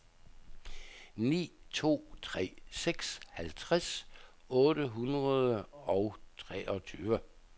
ni to tre seks halvtreds otte hundrede og treogtyve